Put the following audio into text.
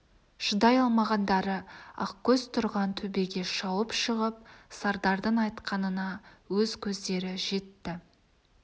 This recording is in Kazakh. шыдай алмағандары ақкөз тұрған төбеге шауып шығып сардардың айтқанына өз көздері жетті